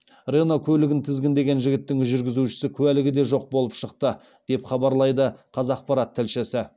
рено көлігін тізгіндеген жігіттің жүргізуші куәлігі де жоқ болып шықты деп хабарлайды қазақпарат тілшісі